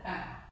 Ja